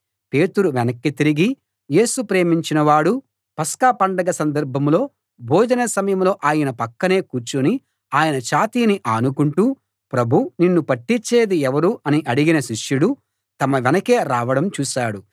పేతురు వెనక్కి తిరిగి యేసు ప్రేమించిన వాడూ పస్కా పండగ సందర్భంలో భోజన సమయంలో ఆయన పక్కనే కూర్చుని ఆయన ఛాతీని ఆనుకుంటూ ప్రభూ నిన్ను పట్టిచ్చేది ఎవరు అని అడిగిన శిష్యుడు తమ వెనకే రావడం చూశాడు